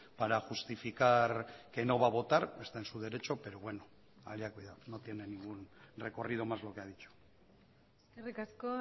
para justificar que no va a votar está en su derecho pero bueno allá cuidado no tiene ningún recorrido más lo que ha dicho eskerrik asko